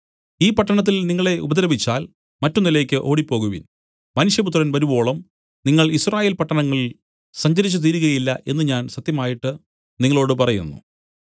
ഈ പട്ടണത്തിൽ നിങ്ങളെ ഉപദ്രവിച്ചാൽ മറ്റൊന്നിലേക്ക് ഓടിപ്പോകുവിൻ മനുഷ്യപുത്രൻ വരുവോളം നിങ്ങൾ യിസ്രായേൽ പട്ടണങ്ങളിൽ സഞ്ചരിച്ചു തീരുകയില്ല എന്നു ഞാൻ സത്യമായിട്ട് നിങ്ങളോടു പറയുന്നു